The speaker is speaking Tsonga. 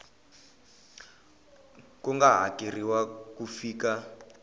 ku nga hakeriwa ku fika